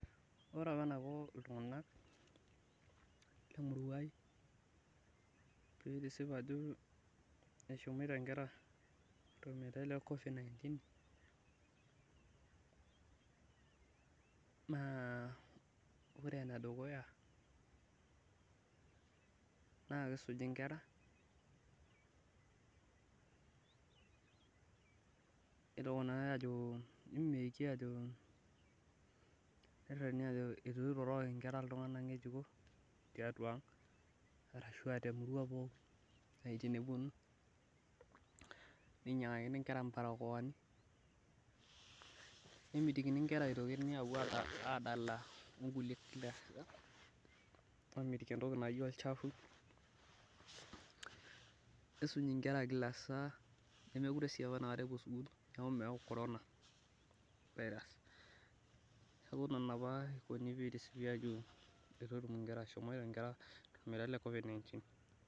Ore apa enaiko iltunganak, Lemurua ai pee isip ajo eshomoito nkera tormetai le covid -19 naa ore ene dukuya naa kisuji nkera, toki naajo , eitu iroroki nkera iltunganak ngejuko tiatua ang, arashu aa temurua pookin tenepuonu. Ninyiangaki nkera barokoani., nemitikini nkera epuo adala onkulie, aamitiki entoki naji olchafu, nisuj nkera Kila saa. nemeekure sii apa, epuo sukuul neeku meyau corona mneeku Nena itisipi ajo eitu etum nkera tolmeitaiu le covid 19.